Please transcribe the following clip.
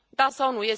Da sau nu?